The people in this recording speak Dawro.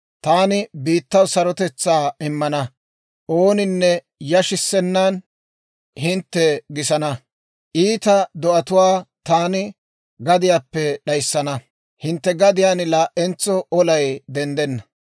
«Taani biittaw sarotetsaa immana; ooninne yashissennan hintte gisana. Iita do'atuwaa taani gadiyaappe d'ayissana; hintte gadiyaan laa"entso olay denddenna.